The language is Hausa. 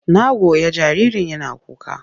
Na goya jaririn yana kuka.